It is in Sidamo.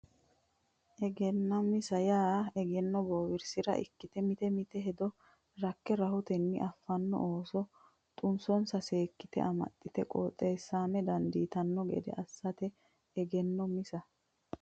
Egennaa misa yaa egenno bowirsa ikkite mite mite hedo rakke rahotenni affaranno ooso xunsonsa seekkite amaxxite qoxxisama dandiitanno gede assate Egennaa misa.